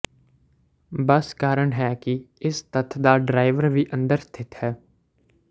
ਬਸ ਕਾਰਨ ਹੈ ਕਿ ਇਸ ਤੱਥ ਦਾ ਡਰਾਈਵਰ ਵੀ ਅੰਦਰ ਸਥਿਤ ਹੈ